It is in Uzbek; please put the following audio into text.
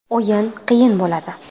O‘yin qiyin bo‘ladi.